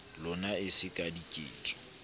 lona e se ka diketso